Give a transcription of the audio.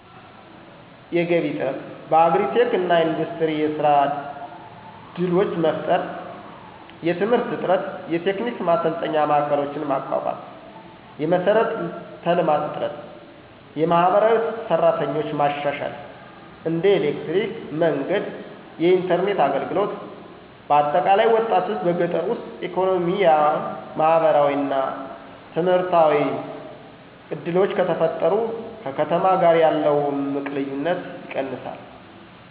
የገቢ እጥረት:- በአግሪ-ቴክ እና ኢንዱስትሪ የሥራ ድሎች መፍጠር። የትምህርት እጥረት:- የቴክኒክ ማሰልጠኛ ማዕከሎችን ማቋቋም። የመሠረተ ልማት እጥረት:- የማህበራዊ ሰራተኞች ማሻሻል (እንደ ኤሌክትሪክ፣ መንገድ፣ የኢንተርኔት አገልግሎት)። በአጠቃላይ፣ ወጣቶች በገጠር ውስጥ ኢኮኖሚያ፣ ማህበራዊ እና ምህርታዊ ዕድሎች ከተፈጠሩ ከከተማ ጋር ያለው እምቅ ልዩነት ይቀንሳል።